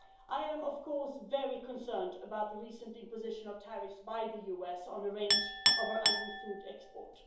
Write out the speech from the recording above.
I am, of course, very concerned about the recent imposition of tariffs by the US on a range of our agri food exports.